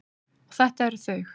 Og þetta eru þau.